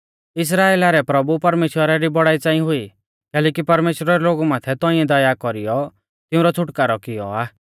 इस्राइला रै प्रभु परमेश्‍वरा री बौड़ाई च़ांई हुई कैलैकि परमेश्‍वरै लोगु माथै तौंइऐ दया कौरीयौ तिऊंरौ छ़ुटकारौ कियौ आ